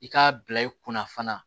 I k'a bila i kunna fana